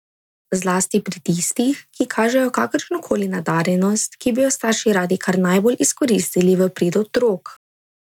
Zlasti pri tistih, ki kažejo kakršno koli nadarjenost, ki bi jo starši radi kar najbolj izkoristili v prid otrok.